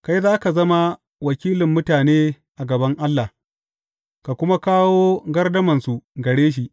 Kai za ka zama wakilin mutane a gaban Allah, ka kuma kawo gardamansu gare shi.